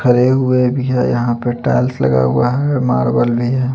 हरे हुए भी है यहाँ पे टाइल्स लगा हुआ है मार्बल भी है.